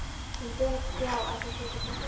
Hún Björg- já, ætli hún sé ekki bara hress.